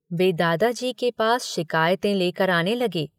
वे दादाजी के पास शिकायतें लेकर आने लगे।